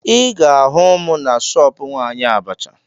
Ị ga-ahụ m na shọọpụ nwaanyị abacha